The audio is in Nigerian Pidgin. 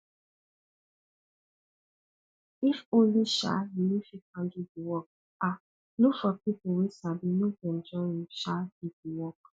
if only um you no fit handle di work um look for pipu wey sabi make dem join you um do di work